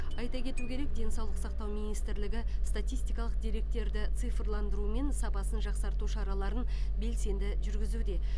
айта кету керек денсаулық сақтау министрлігі статистикалық деректерді цифрландыру мен сапасын жақсарту шараларын белсенді жүргізуде